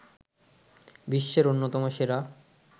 বিশ্বের অন্যতম সেরা